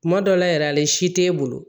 Kuma dɔ la yɛrɛ si tɛ e bolo